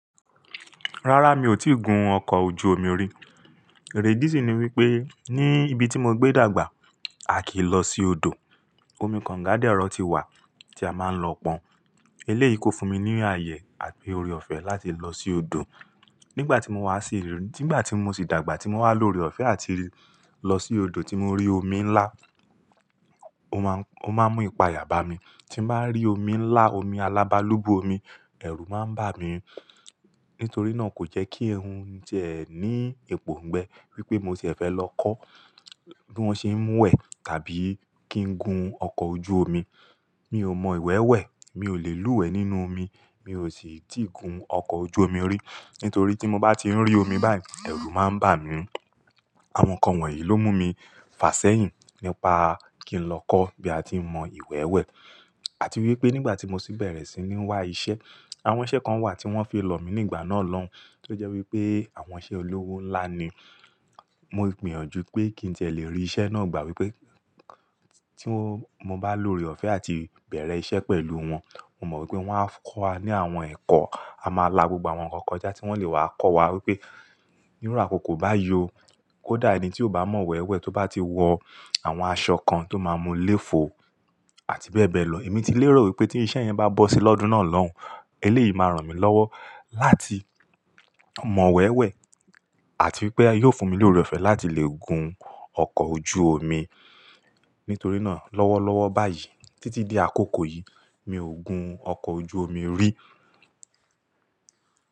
Rárá, mi ò tíì gun ọkọ̀ ojú omi rí. Èrèdí sí ni wípé ní ibi tí mo gbé dàgbà, a kì í lọ sí odò. Omi kànga dérọ̀ ti wà tí a máa ń lọ pọn. Eléyìí kò fún mi ní àyè àti ore ọ̀fẹ́ láti lọ sí odò. Nígbà tí mo wá sí ìlú, nígbà tí mo sì dàgbà tí mo wá loore ọ̀fẹ́ láti lọ sí odò tí mo rí omi ńlá, ó máa ń, ó máa ń mú ipaya bà mí. Tí mo bá rí omi ńlá, omi alábálúgbú omi, ẹ̀rù máa ń bà mí. Nítorí náà kò jẹ́ kí ń ti ẹ́ ní ipòǹgbẹ wípé mo sì fẹ́ lọ kọ́ bí wón ṣe ń mú ẹ tàbí kí n gun ọkọ̀ ojú omi. Mi ò mọ ìwẹ́wẹ́, mi ò lè lúwẹ nínú omi, mi ò sì tí ì gun ọkọ̀ ojú omi rí. Nítorí tí mo bá ti ń rí omi báyìí, ẹ̀rù máa ń bà mí. Àwọn nǹkan wọ̀nyí ló mú mi fà sẹ́yìn nípa kí n lọ kọ́ bí a ti ń mọ ìwẹ́wẹ́. Àti wípé nígbà tí mo sì bẹ̀rẹ̀ sí ní wá iṣẹ́, àwọn iṣẹ́ kan wà tí wón fi lọ̀ mí nígbà náà lọ́hun. Tó jẹ́ wípé àwọn iṣẹ́ olówó ńlá ni. Mo gbìyànjú pé kí n tẹ́lẹ̀ rí iṣẹ́ náà gbà wípé tí mo bá loore ọ̀fẹ́ àti bẹ̀rẹ̀ iṣẹ́ pẹ̀lú wọn, mo mọ̀ wípé wón á kọ́ wa ní àwọn ẹ̀kọ́, a máa la gbogbo àwọn nǹkan kọjá tí wón lè wà á kọ́ wa wípé nírú àkòkò bá yi ọ, kó dà ẹni tí ò bá mọ ìwẹ́wẹ́ tó bá ti wọ àwọn aṣọ kan tó máa mú léfo àti bẹ́ẹ̀ bẹ́ẹ̀ lọ. Èmi ti lérò wípé tí iṣẹ́ yẹn bá bọ́ sí lọ́dún náà lọ́hun, eléyìí máa ràn mí lọ́wọ́ láti mọ ìwẹ́wẹ́ àti wípé yóò fún mi lóore ọ̀fẹ́ láti lè gun ọkọ̀ ojú omi. Nítorí náà lọ́wọ́lọ́wọ́ báyìí títí di àkókò yìí, mi ò gun ọkọ̀ ojú omi rí.